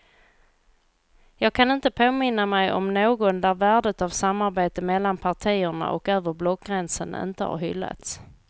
Jag kan inte påminna mig någon där värdet av samarbete mellan partierna och över blockgränsen inte har hyllats.